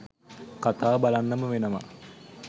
කතාව බලන්නම වෙනවා